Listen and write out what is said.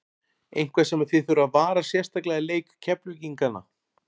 Eitthvað sem að þið þurfið að varast sérstaklega í leik Keflvíkingana?